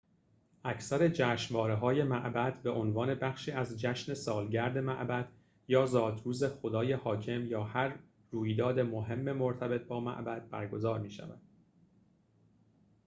اکثر جشنواره‌های معبد به‌عنوان بخشی از جشن سالگرد معبد یا زادروز خدای حاکم یا هر رویداد مهم مرتبط با معبد برگزار می‌شود